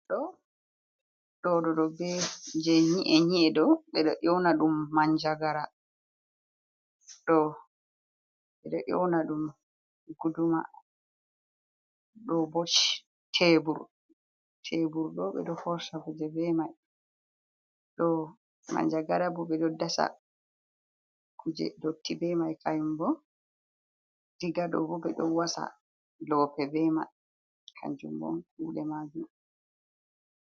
Ɗo je nyi'e nyi'e ɗo, ɓe ɗo youna ɗum Manjagara. Ɗo ɓe ɗo youna ɗum Guduma. Ɗo bo shebur ɗo ɓe ɗo forsha kuje bemai. Ɗo manjagara bo ɓe ɗo dasa kuje dotti be mai mai kayum bo, Diga ɗo bo, ɓe ɗo wasa lope be mai kanjum on kuɗe majum.